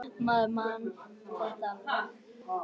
Maður man þetta alveg.